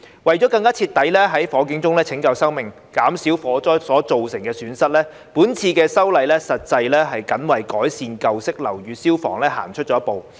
為了更徹底在火警中拯救生命、減少火災所造成的損失，這次修例實際是僅為改善舊式樓宇消防行出了一步。